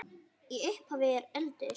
Í upphafi eru öldur.